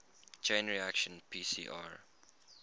chain reaction pcr